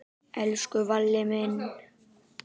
Elsku Valli minn.